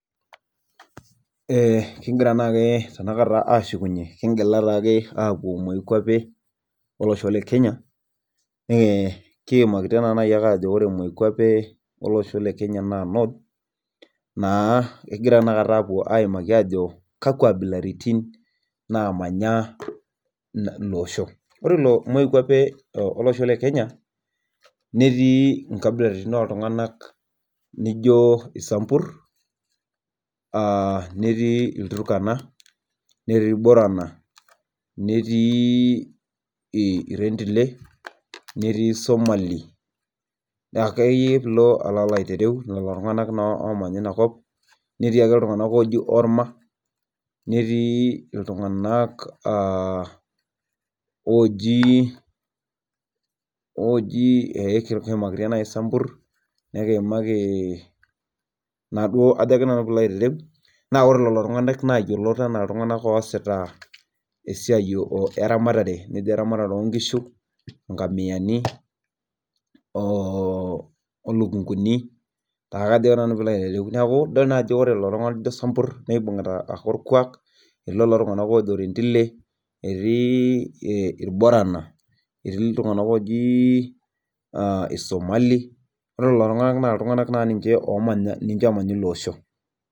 Kigira taa tenakata ashukunyie kigira taa ake apuo moikwape olosho lekenya naa North, naa ekigira apuo aimaki ajo kakwa kwapi naamanya ilo osho, ore ele osho lekenya neetii inkabilaritin naijo isambur, netii ilturkana neii ilborana, irentile, isomali, orma, naa ore lelo tunganak naa esita esiai eramatare oo inkishu neeku ore lelo tunganak ibugita olkuak aitobiraki.